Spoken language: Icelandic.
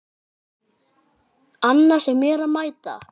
Annars er mér að mæta!